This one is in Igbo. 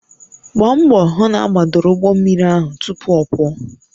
Gbaa mbọ hụ na agbadoro ụgbọ mmiri ahụ tupu ọ pụọ